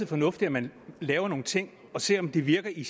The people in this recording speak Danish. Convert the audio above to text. fornuftigt at man laver nogle ting og ser om de virker i